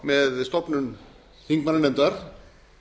með stofnun þingmannanefndar